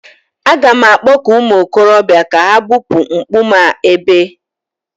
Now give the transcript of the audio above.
A ga m akpọku ụmụ okorobịa ka ha bupuo a nkume a ebe